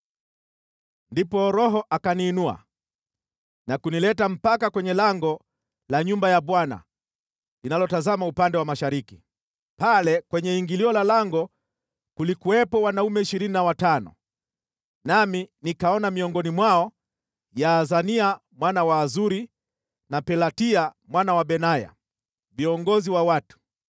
Ndipo Roho akaniinua na kunileta mpaka kwenye lango la nyumba ya Bwana linalotazama upande wa mashariki. Pale kwenye ingilio la lango kulikuwepo wanaume ishirini na watano, nami nikaona miongoni mwao Yaazania mwana wa Azuri na Pelatia mwana wa Benaya, viongozi wa watu.